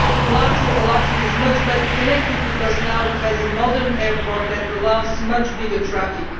Latvia is much better connected because now it has a modern airport that allows much more traffic.